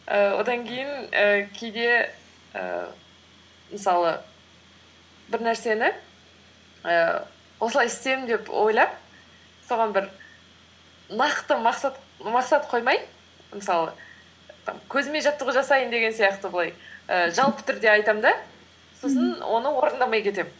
ііі одан кейін ііі кейде ііі мысалы бір нәрсені ііі осылай істеймін деп ойлап соған бір нақты мақсат қоймай мысалы і көзіме жаттығу жасайын деген сияқты былай ііі жалпы түрде айтамын да сосын оны орындамай кетемін